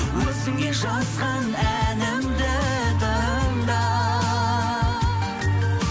өзіңе жазған әнімді тыңда